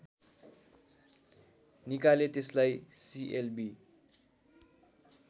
निकाले त्यसलाई सिएलबि